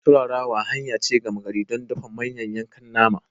Turarawa hanya ce gama gari don dafa manyan yankan nama.